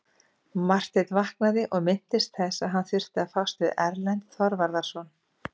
Marteinn vaknaði og minntist þess að hann þurfti að fást við Erlend Þorvarðarson.